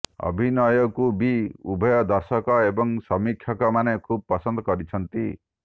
ଅଭିନୟକୁ ବି ଉଭୟ ଦର୍ଶକ ଏବଂ ସମୀକ୍ଷକମାନେ ଖୁବ୍ ପସନ୍ଦ କରିଛନ୍ତି